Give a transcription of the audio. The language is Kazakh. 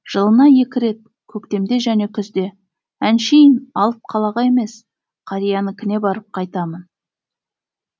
жылына екі рет көктемде және күзде әншейін алып қалаға емес қариянікіне барып қайтамын